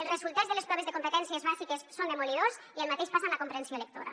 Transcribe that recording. els resultats de les proves de competències bàsiques són demolidors i el mateix passa amb la comprensió lectora